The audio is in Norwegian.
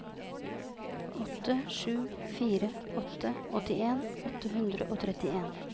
åtte sju fire åtte åttien åtte hundre og trettien